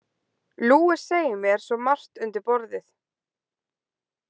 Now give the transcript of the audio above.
Luis segir mér svo margt undir borðið.